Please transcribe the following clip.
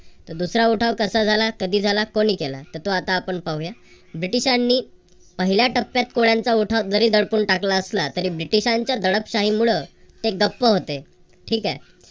तर दुसरा उठाव कसा झाला? कधी झाला? कोणी केला? तर तो आता आपण पाहूया. ब्रिटिशांनी पहिल्या टप्प्यात कोळ्यांचा उठाव जरी दडपून टाकला असला तरी ब्रिटिशांच्या दडपशाहीमुळ ते गप्प होते. ठीक आहे.